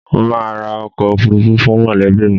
Mo máa ra ọkọ̀ òfuurufú fún mọ̀lẹ́bí mi